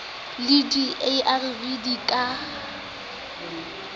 le di arv di ka